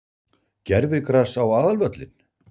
Gervigras á aðalvöllinn?